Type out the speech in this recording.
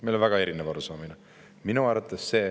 Meil on väga erinev arusaamine!